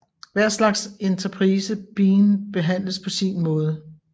Hver slags enterprise bean behandles på sin måde